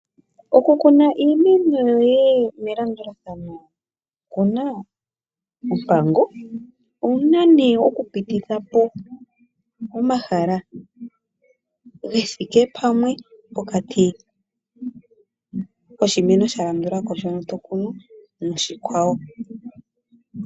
Okukuna iimeno yoye melandulathano oku na ompango. Owu na nee okupititha po omahala ge thike pamwe pokati koshimeno sha landula ko shono to kunu noshikwawo.